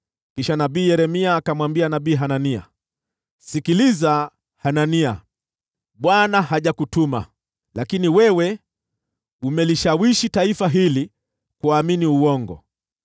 Kisha nabii Yeremia akamwambia nabii Hanania, “Sikiliza Hanania! Bwana hajakutuma, lakini wewe umelishawishi taifa hili kuamini uongo.